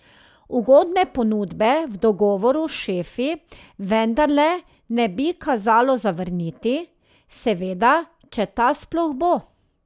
Ugodne ponudbe v dogovoru s šefi vendarle ne bi kazalo zavrniti, seveda, če ta sploh bo.